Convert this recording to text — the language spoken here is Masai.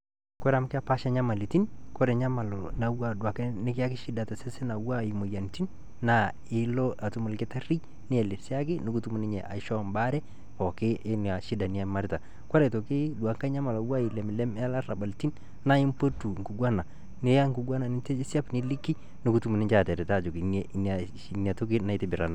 koree amu kepasha nyamalitin koree enyamali nikiyaki shida tosesen moyiaritin naa ilo atuum olkitari nielesaki nikitum ninye embare pooki oina shida niimarita nalarabalitin kore aitoki duo ngae nyamali na labaritin naa mpotu nkiguana naiya ebkiguana nielesa peliki pekitumoki ninje ataret ajoki natoki naitobiraki